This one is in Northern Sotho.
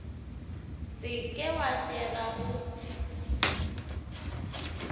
se ke wa fšega go